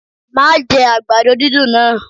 Má jẹ àgbàdo dídùn náà!